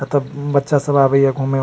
एता बच्चा सब आवै या घूमे --